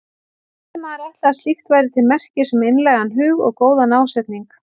Og skyldi maður ætla að slíkt væri til merkis um einlægan hug og góðan ásetning.